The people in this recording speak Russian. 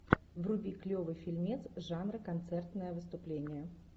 вруби клевый фильмец жанра концертное выступление